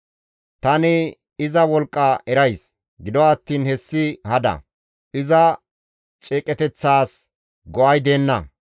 Tani iza wolqqa erays; gido attiin hessi hada; iza ceeqeteththaas go7ay deenna.